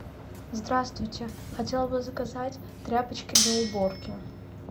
здравствуйте хотела бы заказать тряпочки для уборки